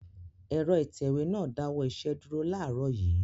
Ẹ̀rọ ìtẹ̀wé náà dáwọ́ iṣẹ́ dúró láàárọ̀ yìí.